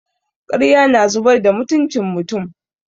Ƙarya na zubar da mutucin mutum.